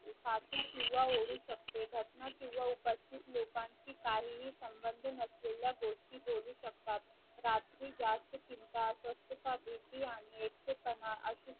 घटना किंवा उपस्थित लोकांची काहीही संबंध नसलेल्या गोष्टी बोलू शकतात रात्री जास्त चिंता अस्वस्थता भीती आणि एकटेपणा असु